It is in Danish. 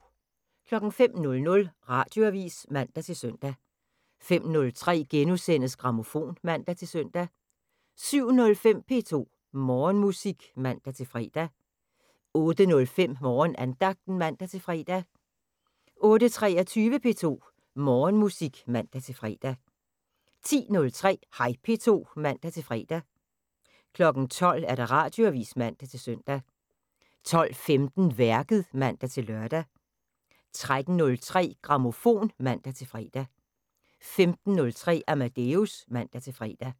05:00: Radioavisen (man-søn) 05:03: Grammofon *(man-søn) 07:05: P2 Morgenmusik (man-fre) 08:05: Morgenandagten (man-fre) 08:23: P2 Morgenmusik (man-fre) 10:03: Hej P2 (man-fre) 12:00: Radioavisen (man-søn) 12:15: Værket (man-lør) 13:03: Grammofon (man-fre) 15:03: Amadeus (man-fre)